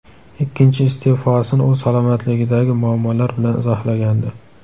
Ikkinchi iste’fosini u salomatligidagi muammolar bilan izohlagandi.